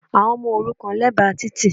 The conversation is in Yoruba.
Àwọn ọmọ òrukàn lẹ́bàá títì